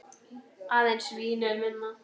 Aðeins Vín er minna.